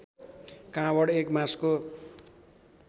काँवड एक बाँसको